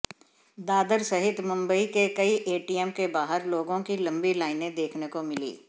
दादर सहित मुंबई के कई एटीएम के बाहर लोगों की लम्बी लाइने देखने को मिली